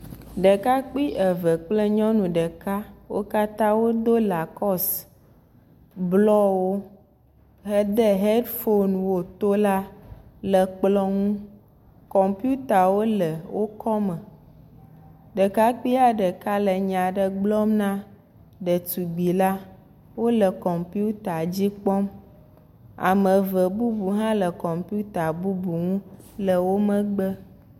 Ɖekakpui eve kple nyɔnu ɖeka. Wo katã wodo lakosi blɔwo hede hedfon wo to la le kplɔ nu. Kɔmpitawo le wo kɔ me. Ɖekpui ɖeka le nya ɖe gblɔm na ɖetugbi la. Wole kɔmpita dzi kpɔm. Ame eve bubu hã le kɔmpita bubu ŋu le wo megbe.